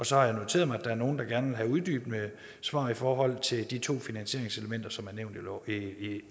så har jeg noteret mig at der er nogle der gerne vil have uddybende svar i forhold til de to finansieringselementer som er nævnt